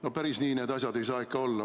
No päris nii need asjad ei saa ikka olla.